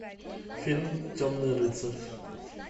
фильм темный рыцарь